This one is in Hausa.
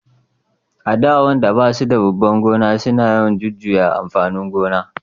a da wayanda ba su da babban gona suna yawan jujuyan amfanin gona